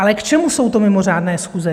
Ale k čemu jsou to mimořádné schůze?